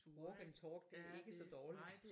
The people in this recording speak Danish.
Walk and talk det er ikke så dårligt